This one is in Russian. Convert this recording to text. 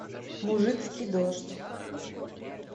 мужицкий дождь